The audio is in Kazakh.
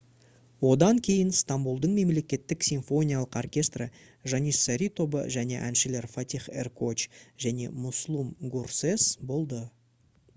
одан кейін стамбұлдың мемлекеттік симфониялық оркестрі janissary тобы және әншілер фатих эркоч және муслум гурсес болды